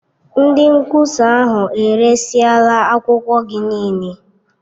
Ndị nkwụsa ahụ eresịla akwụkwọ gị niile.